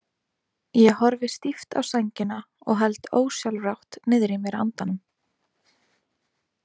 Ég horfi stíft á sængina og held ósjálfrátt niðri í mér andanum.